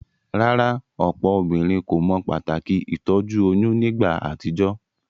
Rárá, òpò obínrin kò mo pàtàkì ìtójú oyún nígba àtijó?